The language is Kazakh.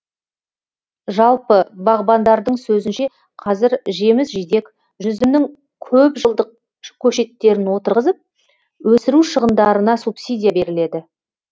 жалпы бағбандардың сөзінше қазір жеміс жидек жүзімнің көпжылдық көшеттерін отырғызып өсіру шығындарына субсидия беріледі